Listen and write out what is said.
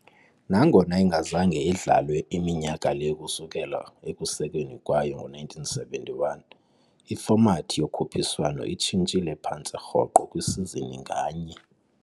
Nangona ingazange idlalwe minyaka le ukusukela ekusekweni kwayo ngo-1971, ifomathi yokhuphiswano itshintshile phantse rhoqo kwisizini nganye.